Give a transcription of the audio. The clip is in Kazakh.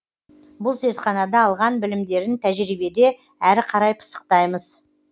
бұл зертханада алған білімдерін тәжірибеде әрі қарай пысықтаймыз